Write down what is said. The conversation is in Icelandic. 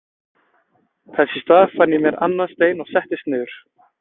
Þess í stað fann ég mér annan stein og settist niður.